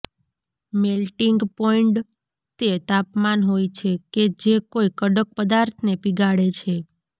melting point તે તાપમાન હોય છે કે જે કોઈ કડક પદાર્થને પીગાળે છે